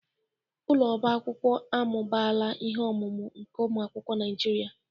Ụlọ ọba akwụkwọ amụbaala ihe ọmụma nke ụmụ akwụkwọ Naijiria.